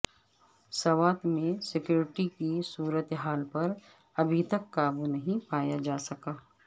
سوات میں سکیورٹی کی صورت حال پر ابھی تک قابو نہیں پایا جا سکا